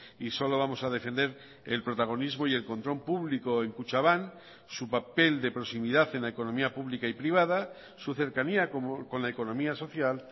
y solo vamos a defender el protagonismo y el control público en kutxabank su papel de proximidad en la economía pública y privada su cercanía con la economía social